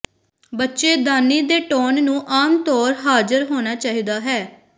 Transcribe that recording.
ਬੱਚੇਦਾਨੀ ਦੇ ਟੋਨ ਨੂੰ ਆਮ ਤੌਰ ਹਾਜ਼ਰ ਹੋਣਾ ਚਾਹੀਦਾ ਹੈ